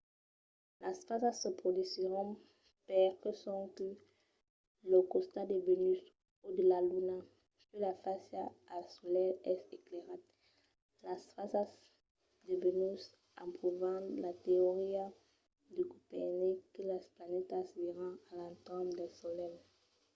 las fasas se produsisson perque sonque lo costat de vènus o de la luna que fa fàcia al solelh es esclairat. las fasas de vènus an provat la teoria de copernic que las planetas viran a l'entorn del solelh